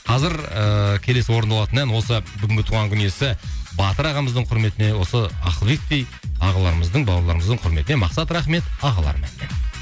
қазір ыыы келесі орындалатын ән осы бүгінгі туған күн иесі батыр ағамыздың кұрметіне осы ақылбектей ағаларымыздың бауырларымыздың құрметіне мақсат рахмет ағаларым әнімен